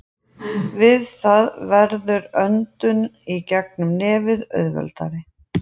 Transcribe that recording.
Við það verður öndun í gegnum nefið auðveldari.